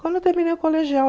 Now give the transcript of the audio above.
Quando eu terminei o colegial.